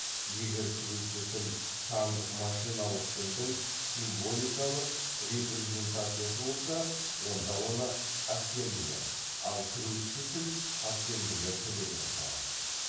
егер кіруші тіл сандық машиналық тілдің символикалық репрезентациясы болса онда оны ассемблер ал кіруші тіл ассемблер тілі деп аталады